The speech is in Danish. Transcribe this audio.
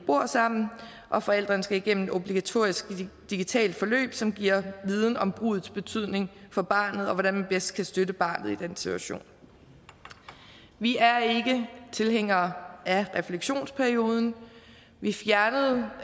bor sammen og forældrene skal igennem et obligatorisk digitalt forløb som giver viden om bruddets betydning for barnet og hvordan man bedst kan støtte barnet i den situation vi er ikke tilhængere af refleksionsperioden vi fjernede